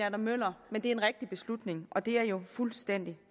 adam møller men det er en rigtig beslutning og det er jo fuldstændig